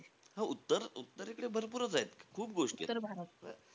हो. उत्तर उत्तरेकडे भरपूरचेत. खूप गोष्टींयेत.